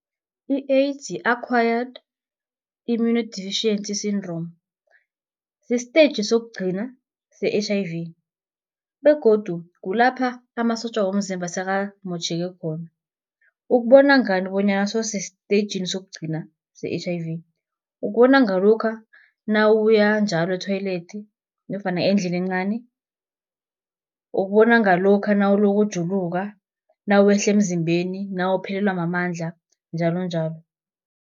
I-AIDS yi-Acquired Immunodeficiency Syndrome, isteji sokugcina se-H_I_V, begodu kulapha amasotja womzimba sekamotjheke khona. Ukubona ngani bonyana sewusestejini sokugcina se-H_I_V, ukubona ngalokha nawuya njalo e-toilet nofana endlini encani. Ukubona ngalokha nawuloku ujuluka, nawehla emzimbeni, nawuphelelwa mamandla njalonjalo.